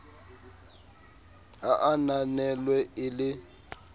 ha a ananelwe e le